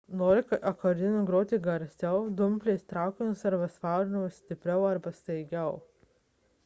norint akordeonu groti garsiau dumplės traukiamos ar suspaudžiamos stipriau arba staigiau